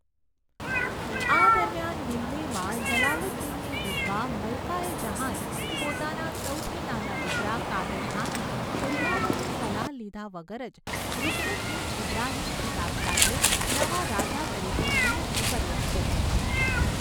આ દરમિયાન, દિલ્હીમાં, જલાલુદ્દીનની વિધવા મલ્કા એ જહાંએ પોતાના સૌથી નાના દીકરા કાદર ખાનને ઉમરાવોની સલાહ લીધા વગર જ રુકનુદ્દીન ઇબ્રાહિમ ખિતાબ સાથે નવા રાજા તરીકે નિયુક્ત કર્યો હતો.